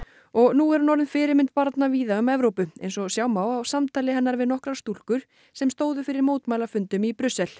og nú er hún orðin fyrirmynd barna víða um Evrópu eins og sjá má á samtali hennar við nokkrar stúlkur sem stóðu fyrir mótmælafundum í Brussel